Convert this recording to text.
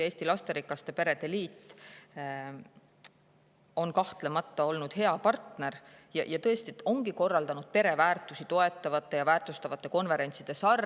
Eesti Lasterikaste Perede Liit on kahtlemata olnud hea partner, nad tõesti ongi korraldanud pereväärtusi toetavate ja väärtustavate konverentside sarja.